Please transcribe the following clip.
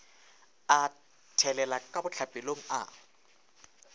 a thelela ka bohlapelong a